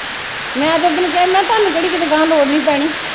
ਮੈ ਤੇ ਓਦਣ ਕਿਹਾ ਮੈ ਕਿਹਾ ਤੁਹਾਨੂੰ ਕਿਹੜੀ ਕਿਤੇ ਗਾਹ ਲੋੜ ਨਹੀਂ ਪੈਣੀ।